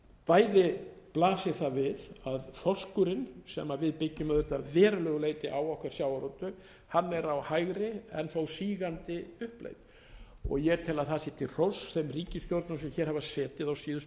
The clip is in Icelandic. bæði blasir það við að þorskurinn sem við byggjum auðvitað að verulegu leyti á okkar sjávarútveg hann er á hægri en þó sígandi uppleið ég tel að það sé til hróss þeim ríkisstjórnum sem hér hafa setið á síðustu